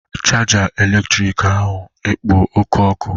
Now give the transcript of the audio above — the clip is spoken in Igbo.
chaja eletrịtrịkị ahụ ekpo oke ọkụ?